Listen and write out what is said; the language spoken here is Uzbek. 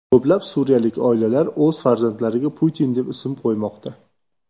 Ko‘plab suriyalik oilalar o‘z farzandlariga Putin deb ism qo‘ymoqda.